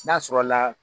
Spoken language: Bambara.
N'a sɔrɔla